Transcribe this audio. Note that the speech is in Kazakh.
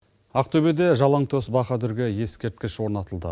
ақтөбеде жалаңтоз баһадүрге ескерткіш орнатылды